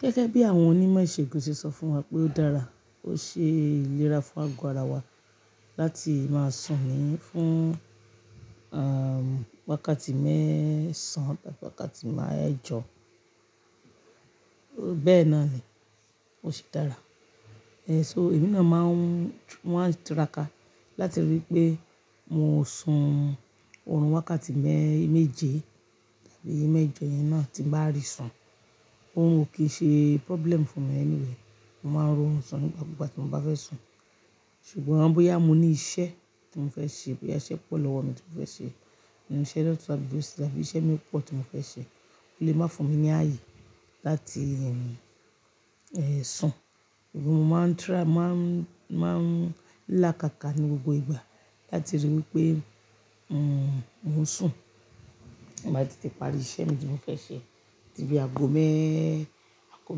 Gẹ́gẹ́ bí àwọn onímọ̀ ìṣègùn ṣe sọ fún wa pé ó dára, ó ṣe ìlera fún ago ara wa láti máa sùn ní fún, um, wákàtí mẹ́ẹ̀sán tàbí wákàtí mẹjọ́. Bẹ́ẹ̀ náà ni, ó ṣe dára. So, èmi náà máa ń, mo máa ń tiraka láti rí i pé mo sùn òórùn wákàtí mẹ́ẹ̀ méje tàbí mẹ̀jọ yẹn náà tí n bá rì sùn. Orun ò kí ṣe problem fún mi anyway. Mo máa ń ri orun sùn ní gbogbo igba tí mo bá fẹ́ sùn. Ṣùgbọ́n bóyá mo ní iṣẹ́ tí mo fẹ́ ṣe, bóyá iṣẹ́ pọ̀ lọ́wọ́ mi tí mo fẹ́ ṣe, inú iṣẹ́ doctor àbí nurse tàbí iṣẹ́ mi pọ̀ tí mo fẹ́ ṣe, ó lè máa fún mi ní ààyè láti, um, sùn. Ṣùgbọ́n mo máa ń try, mo máa ń, máa ń lákàkà ní gbogbo ìgbà láti rí i wí pé, um, mo sùn. Tin bá ti tetẹ̀ parí iṣẹ́ mi tí mo fẹ́ ṣe. Dibi ago mẹ́, ago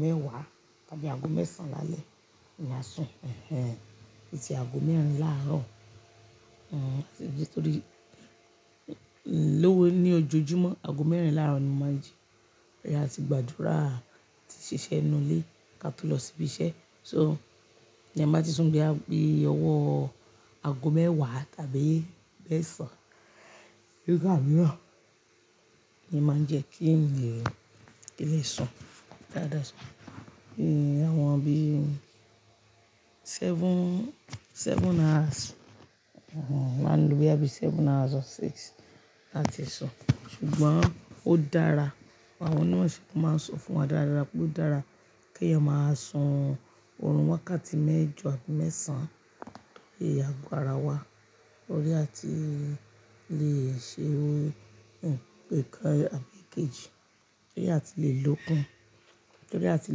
mẹ́wàá tàbí ago mẹ́sán lálẹ́ èmi a sùn, ẹhẹ. Tì tí ago mẹ́rìn làárọ̀, um, torí, lówe ní ojoojúmọ́ ago mẹ́rìn làárọ̀ ni mo máa n jí. Áti gbàdúrà, ti ṣiṣẹ́ nínú ilé ká tó lọ síbí iṣẹ́. So, ní ẹ bá ti sùn bí a pé owó ago mẹ́wàá tàbí mẹ́ẹ̀sán, gbígbà mìíràn ni máa ń jẹ kí ń lè, kí lè sùn. Dáadáa sùn. Ẹ̀ àwọn bí seven, seven hours, òhùn máa ń lo bí i á bí seven hours or six láti sùn. Ṣùgbọ́n ó dára. Àwọn onímọ̀ ìṣègùn máa ń sọ fún wa dáradára pé ó dára kí eeyan máa sùn òórùn wákàtí mẹ́jọ àbí mẹ́ẹ̀sán lé ago ara wa. Torí a ti le è ṣe ohun pẹ̀kán àbí kejì, torí a ti le lòókun, torí a ti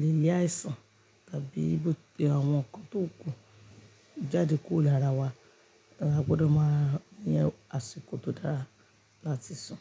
le yá ìsàn tàbí bóti àwọn nkan tó kún jáde kúrò lára wa. Ẹ̀ a gbọdọ̀ máa ní àsìkò tó dára láti sùn.